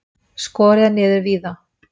Skorið er niður víða.